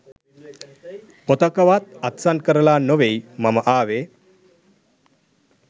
පොතකවත් අත්සන් කරලා නොවෙයි මම ආවේ